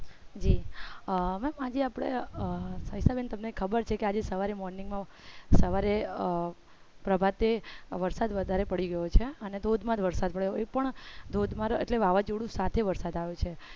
જી હવે ma'am આજે આપડે સવિતા બેન તમને ખબર છે આજે સવારે morning માં સવારે પ્રભાતે વરસાદ વધારે પડી ગયો છે અને ધોધ માર એ પણ ધોધ માર એટલે વાવાજોડા સાથે વરસાદ આવે છે.